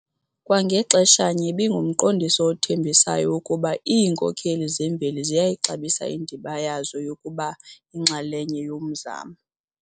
Kwa ngaxeshanye ibingumqondiso othembisayo wokuba iinkokheli zemveli ziyayixabisa indima yazo yokuba yinxalenye yomzamo..